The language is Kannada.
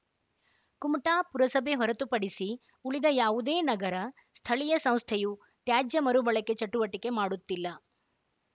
ಕುಮಟಾ ಪುರಸಭೆ ಹೊರತುಪಡಿಸಿ ಉಳಿದ ಯಾವುದೇ ನಗರ ಸ್ಥಳೀಯ ಸಂಸ್ಥೆಯು ತ್ಯಾಜ್ಯ ಮರುಬಳಕೆ ಚಟುವಟಿಕೆ ಮಾಡುತ್ತಿಲ್ಲ